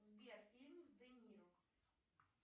сбер фильм с де ниро